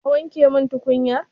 Ka wanke min tukunyar?